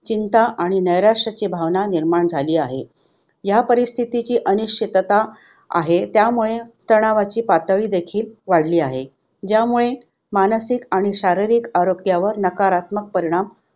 चिंता आणि नैराश्याची भावना निर्माण झाली आहे. ह्या परिस्थितीची अनिश्चितता आहे त्यामुळे तणावाची पातळी देखील वाढली आहे. ज्यामुळे मानसिक आणि शारीरिक आरोग्यावर नकारात्मक परिणाम